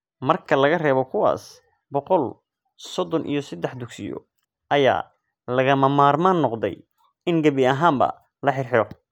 Marka laga reebo kuwaas, boqol sodon iyo sadex dugsiyo ayaa lagama maarmaan noqday in gebi ahaanba la xirxiro.